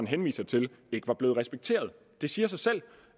henviser til ikke var blevet respekteret det siger sig selv